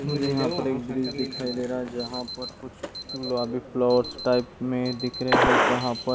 मुझे यहाँ पर एक बिल्डिंग दिखाई दे रहा है जहाँ पर कुछ फ्लोर्स टाइप में दिख रहे हैं जहाँ पर --